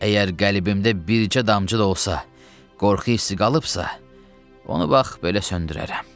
Əgər qəlbimdə bircə damcı da olsa, qorxu hissi qalıbsa, onu bax belə söndürərəm.